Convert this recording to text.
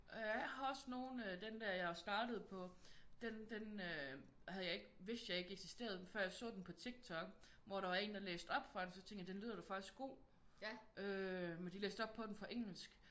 Jeg har også nogle af den der jeg er startet på den havde jeg ikke vidste jeg ikke eksisterede før jeg så den på Tik Tok hvor der var en der læste op fra den så tænkte jeg den lyder da faktisk god